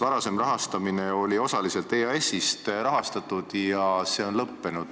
Varasem tegevus oli osaliselt EAS-ist rahastatud ja see on vist lõppenud.